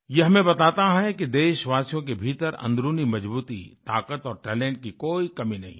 ये हमें बताता है कि देशवासियों के भीतर अंदरूनी मजबूती ताकत और टैलेंट की कोई कमी नहीं है